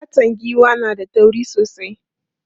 Fatan giwa na da tauri sosai.